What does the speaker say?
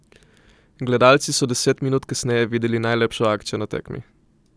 Gledalci so deset minut kasneje videli najlepšo akcijo na tekmi.